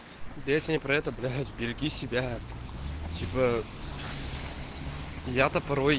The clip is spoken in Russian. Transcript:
песня про этот береги себя типа я то порой